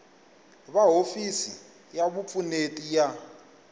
va hofisi ya vupfuneti ya